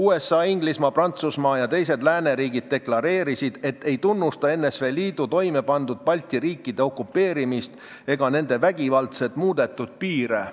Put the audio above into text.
USA, Inglismaa, Prantsusmaa ja teised lääneriigid deklareerisid, et ei tunnusta NSV Liidu toimepandud Balti riikide okupeerimist ega nende vägivaldselt muudetud piire.